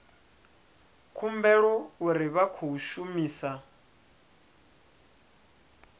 humbulela uri vha khou shumisa